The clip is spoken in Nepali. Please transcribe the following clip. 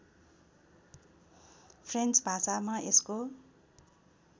फ्रेन्च भाषामा यसको